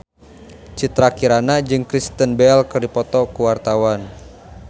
Citra Kirana jeung Kristen Bell keur dipoto ku wartawan